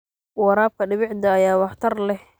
Waraabka dhibicda ayaa waxtar leh.